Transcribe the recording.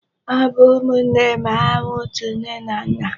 Ha bụ ụmụnne ma hà nwe ọtu nne na nna.